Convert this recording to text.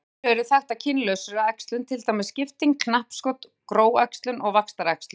Nokkur afbrigði eru þekkt af kynlausri æxlun til dæmis skipting, knappskot, gróæxlun og vaxtaræxlun.